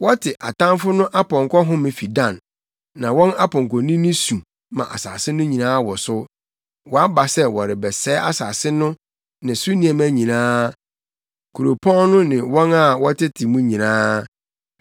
Wɔte atamfo no apɔnkɔ home fii Dan; na wɔn apɔnkɔnini su ma asase no nyinaa wosow. Wɔaba sɛ wɔrebɛsɛe asase no ne so nneɛma nyinaa, kuropɔn no ne wɔn a wɔtete mu nyinaa.